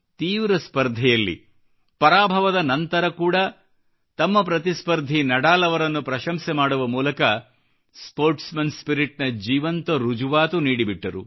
ತೀವ್ರ ಸ್ಪರ್ಧೆಯಲ್ಲಿ ಪರಾಭವದ ನಂತರ ಕೂಡಾ ತಮ್ಮ ಪ್ರತಿಸ್ಪರ್ಧಿ ನಡಾಲ್ ಅವರನ್ನು ಪ್ರಶಂಸೆ ಮಾಡುವ ಮೂಲಕ ಸ್ಪೋರ್ಟ್ಸ್ ಮನ್ ಸ್ಪಿರಿಟ್ ನ ಜೀವಂತ ರುಜುವಾತು ನೀಡಿಬಿಟ್ಟರು